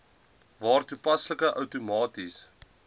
waar toepaslik outomaties